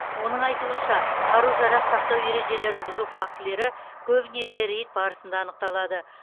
оның айтуынша қару жарақ сақтау ережелерін бұзу фактілері көбінесе рейд барысында анықталады